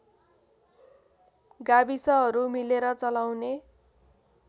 गाविसहरू मिलेर चलाउने